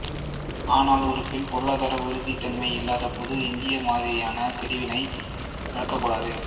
ஆனால் ஒரு பெண் பொருளாதார உறுதித்தன்மை இல்லாத போது இந்த மாதிரியான தெரிவினை நாடக்கூடாது